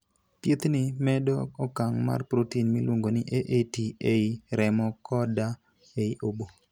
Thiethni medo okang ' mar protein miluongo ni AAT ei remo koda ei obo.